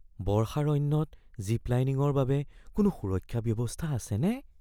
বৰ্ষাৰণ্যত জিপ-লাইনিংৰ বাবে কোনো সুৰক্ষা ব্যৱস্থা আছেনে?